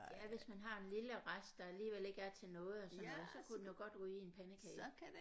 Ja hvis man har en lille rest der alligevel ikke er til noget og sådan noget så kunne den jo godt ryge i en pandekage